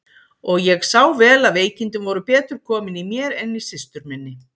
Og ég sá vel að veikindin voru betur komin í mér en í systur minni.